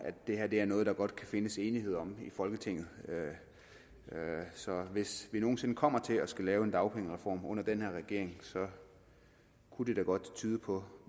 det her er noget der godt kan findes enighed om i folketinget så hvis vi nogen sinde kommer til at skulle lave en dagpengereform under den her regering kunne det godt tyde på